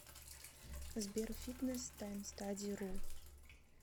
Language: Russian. сбер фитнес таймстади ру